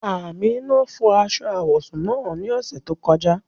Amina fọ́ aṣọ awọsún naá ni ọṣẹ tó kọ̀ja.